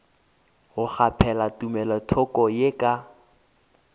go kgaphela tumelothoko ye ka